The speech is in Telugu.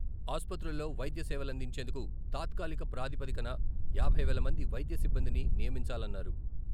ఆసుపత్రుల్లో వైద్య సేవలందించేందుకు తాత్కాలిక ప్రాదిపదికన యాభై వేల మంది వైద్య సిబ్బందిని నియమించాలన్నారు.